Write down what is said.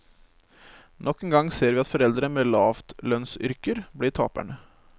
Nok en gang ser vi at foreldre med lavtlønnsyrker blir taperne.